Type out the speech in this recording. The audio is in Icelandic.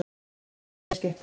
Ferðin heimleiðis gekk vel.